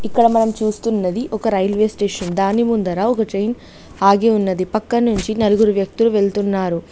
ఇక్కడ మనం చూస్తున్నది ఒక రైల్వే స్టేషన్ దాని ముందర ఒక ట్రైన్ ఆగి ఉన్నది పక్క నుంచి నలుగురు వ్యక్తులు వెళ్తున్నారు.